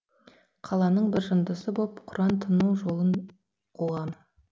қаланың бір жындысы боп құран тыну жолын қуғам